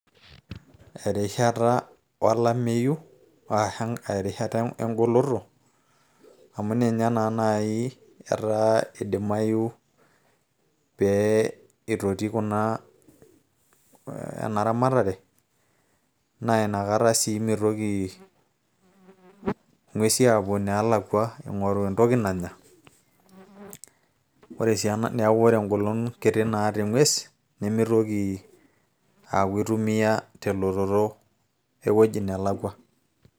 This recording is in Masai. Erishata olameyu arashu erishata egoloto, amu ninye na nai idimayu pee itotii kuna enaramatare, na inakata si mitoki ing'uesi apuo neelakwa ing'oru entoki nanya. Ore si ena neeku ore egolon kiti naata eng'ues, nimitoki aku eitumia telototo ewueji nelakwa.